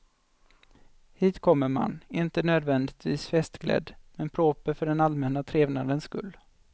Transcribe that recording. Hit kommer man, inte nödvändigtvis festklädd men proper för den allmänna trevnadens skull.